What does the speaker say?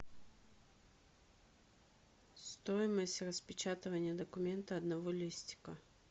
стоимость распечатывания документа одного листика